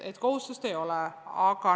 Aga kohustust ei ole.